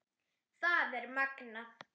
Það er magnað.